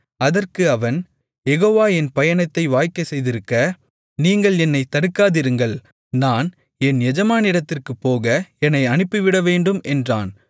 அதற்கு அவன் யெகோவா என் பயணத்தை வாய்க்கச்செய்திருக்க நீங்கள் என்னைத் தடுக்காதிருங்கள் நான் என் எஜமானிடத்திற்குப்போக என்னை அனுப்பிவிடவேண்டும் என்றான்